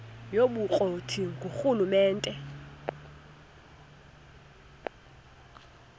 yobukro ti ngurhulumente